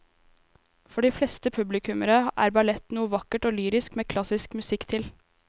For de fleste publikummere er ballett noe vakkert og lyrisk med klassisk musikk til.